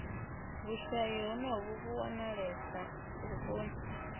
vhushayi honovhu vhu wanalesa vhuponi